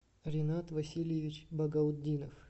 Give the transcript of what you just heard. ренат васильевич багаутдинов